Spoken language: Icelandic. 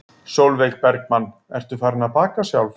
Sólveig Bergmann: Ertu farin að baka sjálf?